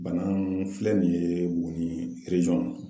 Bana mun filɛ nin ye mun ni